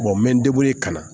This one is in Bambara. n bɛ n ka na